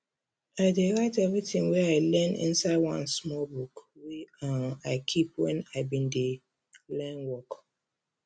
i dey write everything wey i learn inside one small book wey um i keep when i been dey learn work